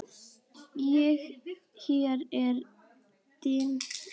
Og hér er dimmt.